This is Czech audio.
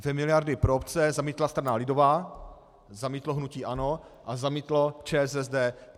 Dvě miliardy pro obce zamítla strana lidová, zamítlo hnutí ANO a zamítlo ČSSD.